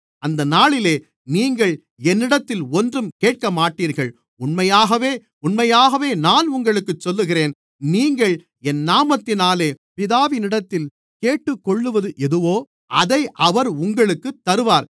அந்த நாளிலே நீங்கள் என்னிடத்தில் ஒன்றும் கேட்கமாட்டீர்கள் உண்மையாகவே உண்மையாகவே நான் உங்களுக்குச் சொல்லுகிறேன் நீங்கள் என் நாமத்தினாலே பிதாவினிடத்தில் கேட்டுக்கொள்ளுவது எதுவோ அதை அவர் உங்களுக்குத் தருவார்